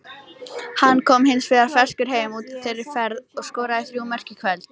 Hann kom hins vegar ferskur heim úr þeirri ferð og skoraði þrjú mörk í kvöld.